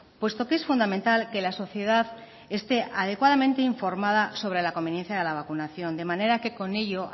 puesto que es fundamental que la sociedad esté adecuadamente informada sobre la conveniencia de la vacunación de manera que con ello